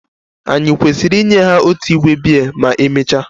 Ànyị kwesịrị inye ha otu igbe biya ma emechaa?